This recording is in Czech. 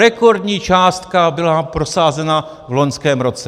Rekordní částka byla prosázena v loňském roce.